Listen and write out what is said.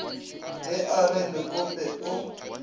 ge a re lekope o